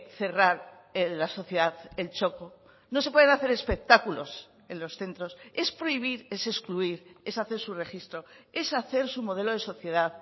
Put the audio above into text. cerrar la sociedad el txoko no se pueden hacer espectáculos en los centros es prohibir es excluir es hace su registro es hacer su modelo de sociedad